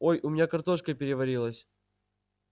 ой у меня картошка переварилась